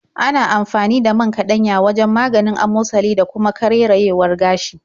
Ana amfani da man kaɗanya wajen maganin amosali da kuma karerayewar gashi.